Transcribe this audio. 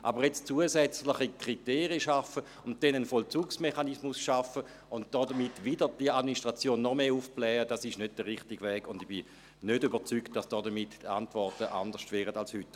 Aber jetzt zusätzliche Kriterien und dann einen Vollzugsmechanismus schaffen und damit wieder die Administration noch mehr aufblähen, das ist nicht der richtige Weg, und ich bin nicht überzeugt, dass damit die Antworten anders würden als heute.